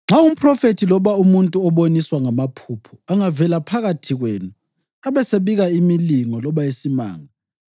“Nxa umphrofethi, loba umuntu oboniswa ngamaphupho, angavela phakathi kwenu abesebika imilingo loba isimanga,